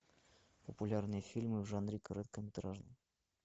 популярные фильмы в жанре короткометражный